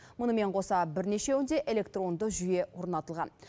мұнымен қоса бірнешеуінде электронды жүйе орнатылған